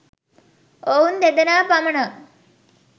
ඔවුන් දෙදෙනා පමණක්